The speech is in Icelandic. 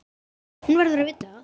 Hann verður að vita það.